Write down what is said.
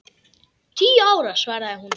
Tíu ára, svaraði hún.